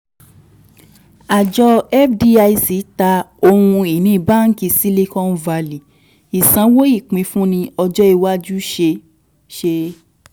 Àjọ fdic ta ohun ìní báǹkì silicon valley ìsanwó ìpínfúnni ọjọ́ iwájú ṣe ṣe.